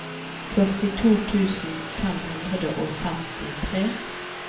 førtito tusen fem hundre og femtitre